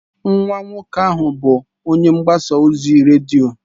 Nwa nwoke ahụ bụ onye mgbasa ozi redio.